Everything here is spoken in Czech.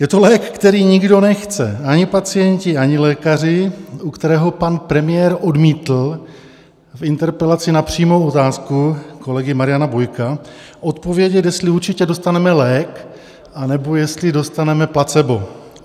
Je to lék, který nikdo nechce, ani pacienti, ani lékaři, u kterého pan premiér odmítl v interpelaci na přímou otázku kolegy Mariana Bojka odpovědět, jestli určitě dostaneme lék, anebo jestli dostaneme placebo.